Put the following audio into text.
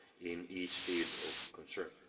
in each field of concern.